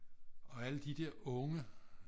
og alle de der unge